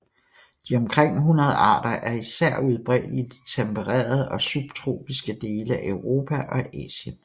De omkring 100 arter er især udbredt i de tempererede og subtropiske dele af Europa og Asien